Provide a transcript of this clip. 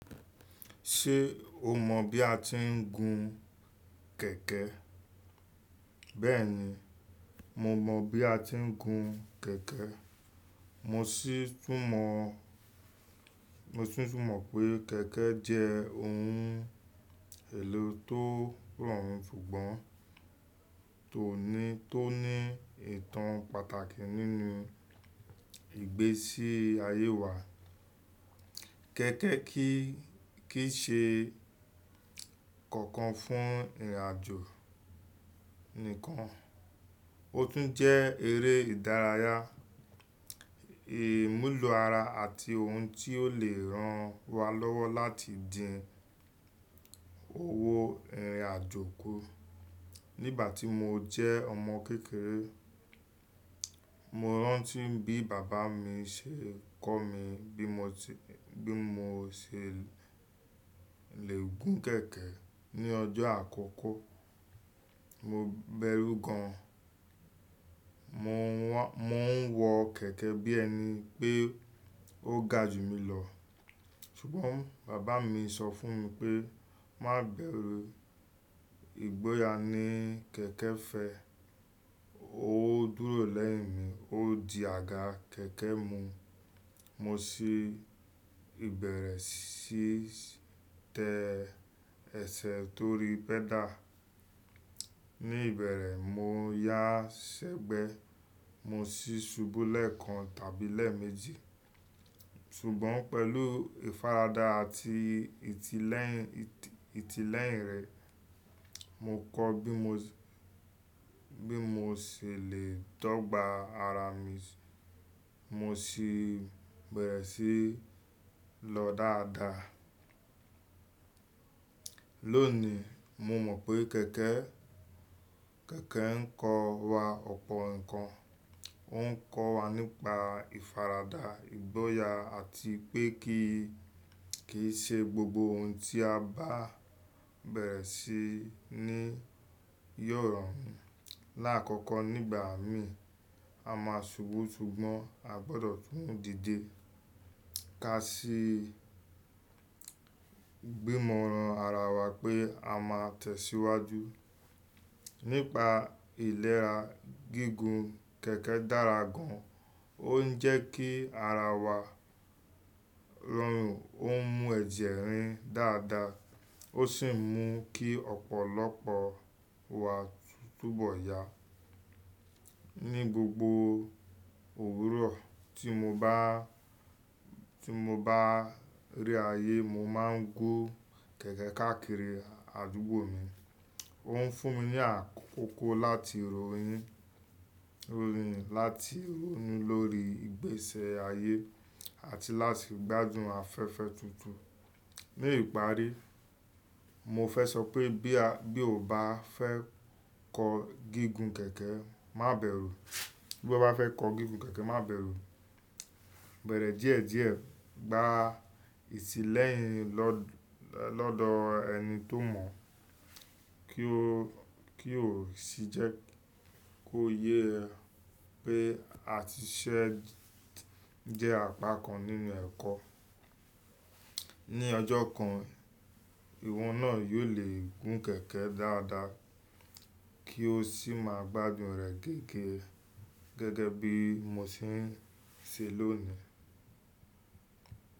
Ṣé o mọ̀ bí a ti ń gun kẹ̀kẹ́? Bẹ́ẹ̀ni, mo mọ̀ bí a ti ń gun kẹ̀kẹ́. Mo sì tún mọ, mo sì tún mọ pé kẹ̀kẹ́ jẹ́ ohun èlò tó rọrùn ṣùgbọ́n tó ní, tó ní ìtàn pàtàkì nínú ìgbésí ayé wa. Kẹ̀kẹ́ kì í ṣe kankan fún ìrìn àjò nìkan, ó tún jẹ́ eré ìdárayá, ìmúlò ara àti ohun tí ó lè ran wa lọ́wọ́ láti dín owó ìrìn àjò kù. Nígbà tí mo jẹ́ ọmọ kékeré, mo rántí bí bàbá mi ṣe kọ́ mi bí mo ti, bí mo ṣe lè gun kẹ̀kẹ́ ní ọjọ́ àkọ́kọ́. Mo bẹrú gan an, mo ń wọ kẹ̀kẹ́ bí ẹni pé ó ga jù mi lọ. Ṣùgbọ́n bàbá mi sọ fún mi pé, "Má bẹrù, ìgboyà ni kẹ̀kẹ́ fẹ́." Ó dúró lẹ́yìn mi, ó di àga kẹ̀kẹ́ mú. Mo sì bẹ̀rẹ̀ sí tẹ ẹsẹ̀ torí pẹ́dà. Ni ìbẹ̀rẹ̀, mo yá ṣẹ́gbẹ́, mo sì ṣubú lẹ́ẹ̀kan tàbí lẹ́ẹ̀ méjì. Ṣùgbọ́n pẹ̀lú ìfaradà àti ìtílẹ́yìn rẹ̀, mo kọ́ bí mo sì lè tọ́ gba ara mi. Mo sì beẹ̀rẹ̀ sí lọ dáadáa. Lónìí, mo mọ̀ pé kẹ̀kẹ́, kẹ̀kẹ́ ń kọ́ wa ọ̀pọ̀ nǹkan. Ó ń kọ́ wa nípa ìfaradà, ìgboyà àti pé kì í ṣe gbogbo ohun tí a bá bẹ̀rẹ̀ sí ní yóò rọrùn. Láàkọ́kọ́ nígbà mí, a máa ṣubú ṣùgbọ́n a gbọdọ̀ tún dìde. Ká sì gbìmọ̀ran ara wa pé a máa tẹ̀síwájú. Nípa ìlera gígùn kẹ̀kẹ́ dára gan an. Ó ń jẹ́ kí ara wa rọrùn, ó ń mú ẹ̀jẹ̀ rìn dáadáa, ó sì ń mú kí ọ̀pọ̀lọpọ̀ wa túbọ̀ yá. Ni gbogbo òwúrọ̀ tí mo bá rí ayé, mo máa ń gún kẹ̀kẹ́ káàkiri àdúgbò mi. Ó ń fún mi ní àkókò láti rònu, láti ronú lórí ìgbési ayé àti láti gbádùn afẹ́fẹ́ tutu Ní ìparí, mo fẹ́ sọ pé bí o bá fẹ́ kọ gígùn kẹ̀kẹ́, má bẹ̀rù. Bí o bá fẹ́ kọ gígùn kẹ̀kẹ́, má bẹ̀rù. Bẹ̀rẹ̀ díẹ̀díẹ̀, gba ìtílẹ́yìn lọ́dọ̀ ẹni tó mọ̀ kí ó sì jẹ́ kó yé ẹ pé àtìsẹ́ jẹ́ apá kan nínú ẹ̀kọ́. Ni ọjọ́ kan, ìwọ náà yóò lè gun kẹ̀kẹ́ dáadáa kí o sì máa gbádùn rẹ̀ gẹ́gẹ́ bí mo ṣe ń ṣe lónìí.